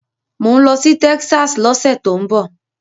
Mò ń lọ sí Texas lọ́sẹ̀ tó ń bọ̀.